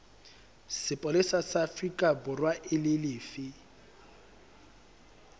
sepolesa sa aforikaborwa e lefe